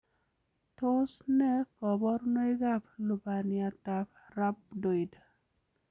Tos nee koborunoikab lubaniatab Rhabdoid.